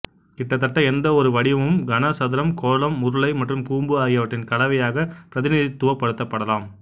கிட்டத்தட்ட எந்தவொரு வடிவமும் கன சதுரம் கோளம் உருளை மற்றும் கூம்பு ஆகியவற்றின் கலவையாக பிரதிநிதித்துவப்படுத்தப்படலாம்